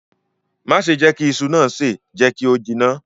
Má ṣe jẹ kí iṣu naa se, jẹ kí o jiná.